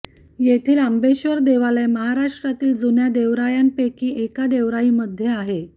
येथील आंबेश्वर देवालय महाराष्ट्रातील जुन्या देवरायांपैकी एका देवराईमध्ये आहे